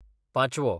पाचवो